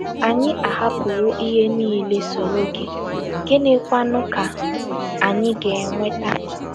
Anyị ahapụwo ihe niile, soro gị; gịnịkwanụ ka anyị ga - enweta? ”